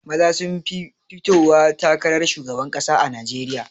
Maza sun fi fitowa takarar shugaban ƙasa a najeriya